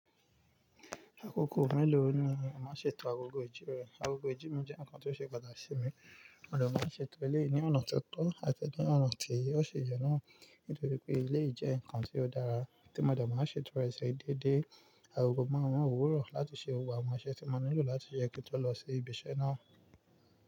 Àkókò mélòó ni màá ṣe ètò agogo ìjí rẹ? Agogo ìjí mi jẹ́ ǹkan tó ṣe pàtàkì sí mi, mo de máa n ṣe ètò ilé yìí ni ọ̀nà ti ó tọ̀ àti ni ọ̀nà tí ó ṣi yen náà. Nítorí pé eléyì jẹ́ ǹkan tí ó dára tí mo de máa n ṣe tọ rẹ sí déédé. Agogo márun òwúrọ̀ láti ṣe gbogbo àwọn iṣẹ́ tí mo nílò láti ṣe kí n tó lọ sí ibi iṣẹ́ náà.